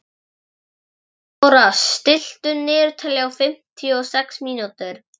Árþóra, stilltu niðurteljara á fimmtíu og sex mínútur.